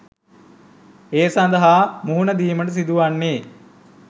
ඒ සඳහා මුහුණ දීමට සිදු වන්නේ